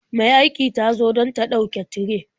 Mai aiki ta zo don ta ɗauke tire.